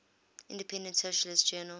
independent socialist journal